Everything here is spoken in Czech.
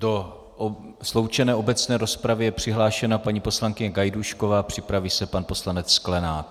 Do sloučené obecné rozpravy je přihlášena paní poslankyně Gajdůšková, připraví se pan poslanec Sklenák.